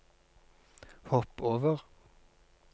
hopp over